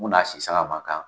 Munna sisa a man kan?